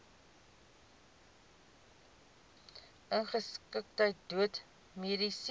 ongeskiktheid dood mediese